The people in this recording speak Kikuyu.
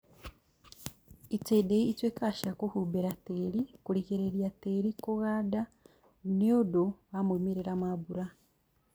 Itindiĩ ituĩkaga cia kũhumbĩra tĩri, kũrigĩrĩria tĩri kũganda nĩũndũ wa moimĩrĩra ma mbura